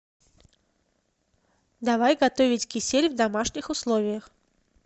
давай готовить кисель в домашних условиях